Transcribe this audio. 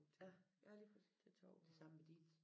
Ja ja lige præcis. Det samme med Dinesen